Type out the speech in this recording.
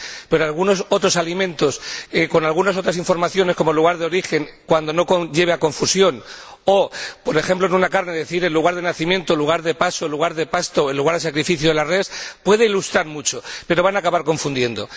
Sí, pero algunos otros alimentos con algunas otras informaciones, como el lugar de origen, cuando no lleve a confusión, o, por ejemplo, en una carne decir el lugar de nacimiento, el lugar de paso, el lugar de pasto o el lugar de sacrificio de la res puede ilustrar mucho, pero va a acabar confundiendo.